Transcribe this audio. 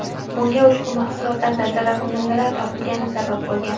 Bunga ushbu mahsulotlarda zararkunandalar topilgani sabab bo‘lgan.